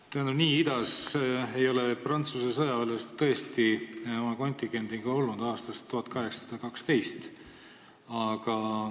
Tähendab, nii idas ei ole Prantsuse sõjaväelased oma kontingendiga olnud aastast 1812.